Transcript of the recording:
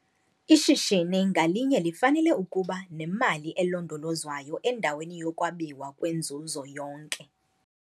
Ishishini ngalinye lifanele ukuba nemali elondolozwayo endaweni yokwabiwa kwenzuzo yonke.